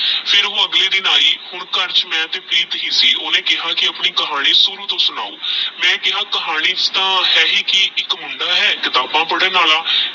ਫਿਰ ਓਹ ਅਲਗੇ ਦਿਨ ਆਯੀ ਹੁਣ ਘਰ ਵਿਚ ਮੈ ਤੇਹ ਪ੍ਰੀਤ ਹੀ ਸੀ ਓਹਨੇ ਕੇਹਾ ਕੀ ਆਪਣੀ ਕਹਾਣੀ ਸ਼ੁਰੂ ਤੋਂ ਸੁਣਾਓ ਮੈ ਕੇਹਾ ਕਹਨੀ ਚ ਤਾ ਹੈ ਹੀ ਕੀ ਏਕ ਮੁੰਡਾ ਹੈ ਕਿਤਾਬਾ ਪੜ੍ਹਣ ਆਲਾ